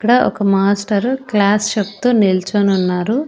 ఇక్కడ ఒక master class చెప్తూ నిల్చొనున్నారు.